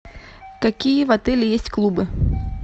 какие в отеле есть клубы